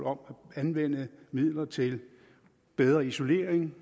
om at anvende midler til bedre isolering